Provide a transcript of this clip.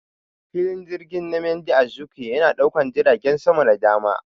Filin jirgin Nmadi Azikiwe yana daukan jiragen sama da dama.